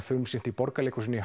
frumsýnt í Borgarleikhúsinu í